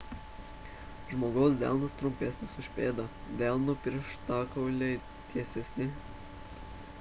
žmogaus delnas trumpesnis už pėdą delno pirštikauliai tiesesni